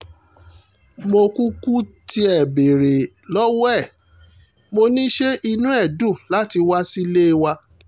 mo kúkú tiẹ̀ béèrè lọ́wọ́ ẹ̀ mo ní ṣe inú ẹ̀ dùn láti wá sílé wa